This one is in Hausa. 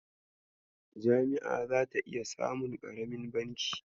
Jami'a zata iya samun ƙaramin banki.